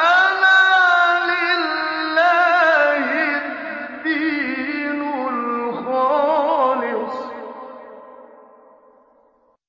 أَلَا لِلَّهِ الدِّينُ الْخَالِصُ ۚ